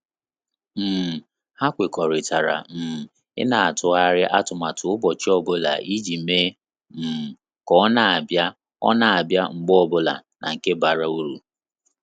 um Ha kwekọrịtara um ina atụgharị atụmatụ ụbọchị ọbụla iji mee um ka ọ na abia ọ na abia mgbe ọbụla na nke bara uru